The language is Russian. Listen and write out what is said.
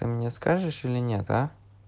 а мне скажешь или нет а